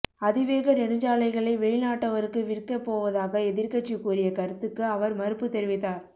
அதிவேக நெடுஞ்சாலைகளை வெளிநாட்டவருக்கு விற்க போவதாக எதிர்கட்சி கூறிய கருத்துக்கு அவர் மறுப்பு தெரிவித்தார்